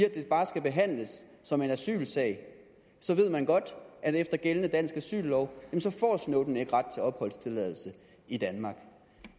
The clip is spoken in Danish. at det bare skal behandles som en asylsag så ved man godt at efter gældende dansk asyllov får snowden ikke ret til opholdstilladelse i danmark